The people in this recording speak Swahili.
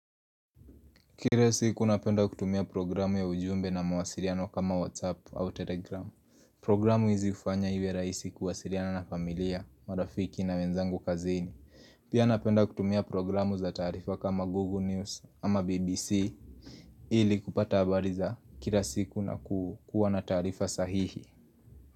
Kila siku napenda kutumia programu ya ujumbe na mawasiriano kama WhatsApp au Telegram Programu hizi kufanya iwe raisi kuwasiriana na familia, marafiki na menzangu kazini Pia napenda kutumia programu za tarifa kama Google News ama BBC Ili kupata habari za kila siku na kuwa na tarifa sahihi.